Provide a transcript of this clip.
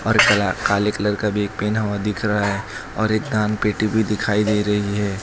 और कला काले कलर का बैग पहना हुआ दिख रहा है और एक दान पेटी भी दिखाई दे रही है।